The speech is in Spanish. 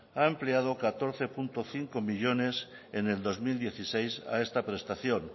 ha empleado catorce coma cinco millónes en el dos mil dieciséis a esta prestación